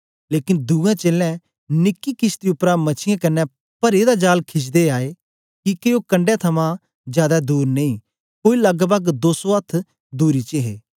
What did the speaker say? लेकन दूएं चेलें निकी किशती उपरा मछीयें कन्ने परे दा जाल खिचदे आए किके ओ कंडै थमां जादै दूर नेई कोई लगपग दो सौ अथ्थ दूरी च हे